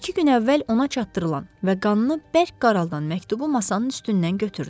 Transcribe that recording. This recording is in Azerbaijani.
İki gün əvvəl ona çatdırılan və qanını bərk qaraldan məktubu masanın üstündən götürdü.